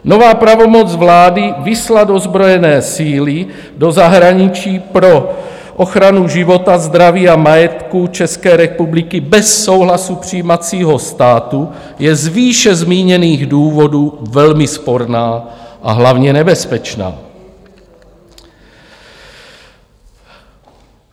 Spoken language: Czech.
Nová pravomoc vlády vyslat ozbrojené síly do zahraničí pro ochranu života, zdraví a majetku České republiky bez souhlasu přijímacího státu je z výše zmíněných důvodů velmi sporná, a hlavně nebezpečná.